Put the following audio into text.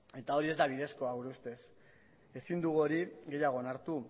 eta hori ez da bidezkoa gure ustez ezin dugu hori gehiago onartu